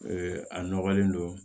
Ee a nɔgɔlen don